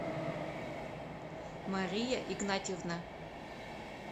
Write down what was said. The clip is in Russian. мария игнатьевна